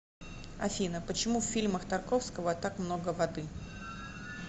афина почему в фильмах тарковского так много воды